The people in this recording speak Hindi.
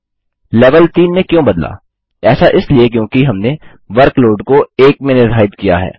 lलेवल 3 में क्यों बदलाऐसा इसलिए क्योंकि हमने वर्कलोड को 1 में निर्धारित किया है